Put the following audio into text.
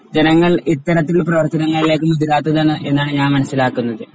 ജനങ്ങൾ ഇത്തരത്തിൽ പ്രവർത്തനങ്ങളിലേക്ക് മുതിരാത്തത് എന്നാണ് ഞാൻ മനസ്സിലാക്കുന്നത്.